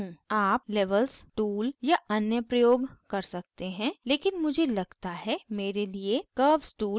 आप levels tool या अन्य प्रयोग कर सकते हैं लेकिन मुझे लगता है मेरे लिए curves tool सबसे अच्छा है